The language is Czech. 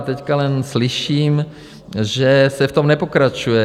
A teď jen slyším, že se v tom nepokračuje.